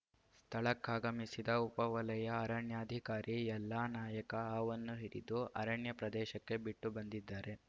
ಸ್ಥಳಕ್ಕಾಗಮಿಸಿದ ಉಪ ವಲಯ ಅರಣ್ಯಾಧಿಕಾರಿ ಎಲ್ಲಾ ನಾಯಕ ಹಾವನ್ನು ಹಿಡಿದು ಅರಣ್ಯ ಪ್ರದೇಶಕ್ಕೆ ಬಿಟ್ಟು ಬಂದಿದ್ದಾರೆ